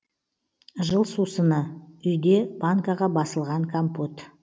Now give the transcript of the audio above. жыл сусыны үйде банкаға басылған компот